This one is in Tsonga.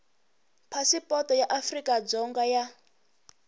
phasipoto ya afrika dzonga ya